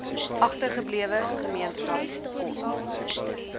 agtergeblewe gemeenskap kon